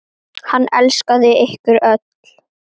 Hann elskaði ykkur öll.